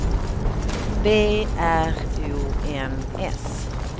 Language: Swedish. B R O N S